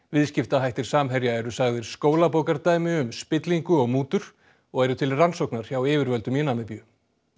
viðskiptahættir Samherja eru sagðir skólabókardæmi um spillingu og mútur og eru til rannsóknar hjá yfirvöldum í Namibíu